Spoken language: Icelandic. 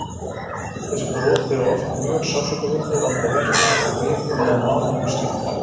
Þessi brot eru oft mjög sársaukafull og valda verkjum svo vikum eða mánuðum skiptir.